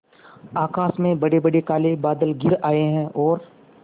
आकाश में बड़ेबड़े काले बादल घिर आए हैं और